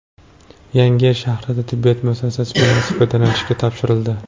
Yangiyer shahrida tibbiyot muassasasi binosi foydalanishga topshirildi.